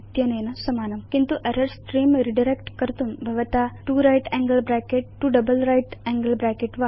इत्यनेन समानम् किन्तु error स्त्रेऽं रिडायरेक्ट् कर्तुं भवता 2 right angle bracket 2 double right angle bracket